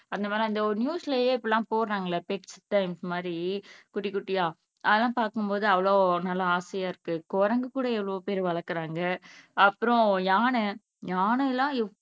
அந்த மாதிரி ஒரு நியூஸ்லயே இப்படி எல்லாம் போடுறாங்க இல்ல பெட்ஸ் த ஃபின்ஸ் மாதிரி குட்டி குட்டியா அதெல்லாம் பாக்கும்போது அவ்ளோ நல்லா ஆசையா இருக்கு குரங்குகூட எவ்வளவுபேர் வளர்க்கிறாங்க அப்புறம் யானையானை எல்லாம் எப்